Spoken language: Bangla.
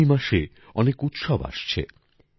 আগামী মাসে অনেক উৎসব আসছে